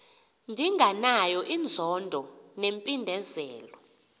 ndinganayo inzondo nempindezelo